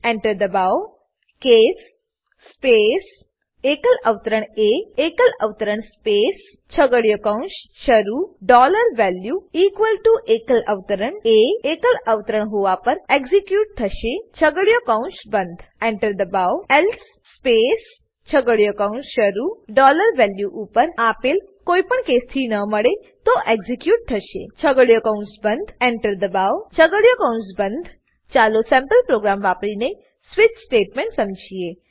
Enter દબાવો case space એકલ અવતરણ એ એકલ અવતરણ સ્પેસ છગડીયો કૌંસ શરૂ ડોલર વેલ્યુ ઇક્વલ ટીઓ એકલ અવતરણ એ એકલ અવતરણ હોવા પર એક્ઝીક્યુટ થશે છગડીયો કૌંસ બંધ Enter દબાવો એલ્સે સ્પેસ છગડીયો કૌંસ શરૂ ડોલર વેલ્યુ ઉપર આપેલ કોઈપણ કેસથી ન મળે તો એક્ઝીક્યુટ થશે છગડીયો કૌંસ બંધ Enter દબાવો છગડીયો કૌંસ બંધ ચાલો સેમ્પલ પ્રોગ્રામ વાપરીને સ્વિચ સમજીએ